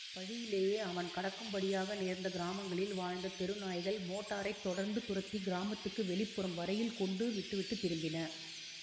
வழியிலே அவன் கடக்கும் படியாக நேர்ந்த கிராமங்களில் வாழ்ந்த தெரு நாய்கள் மோட்டாரைத் தொடர்ந்து துரத்தி கிராமத்துக்கு வெளிப்புறம் வரையில் கொண்டு விட்டு விட்டு திரும்பின